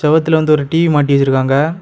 செவுத்துல வந்து ஒரு டி_வி மாட்டி வச்சிருக்காங்க.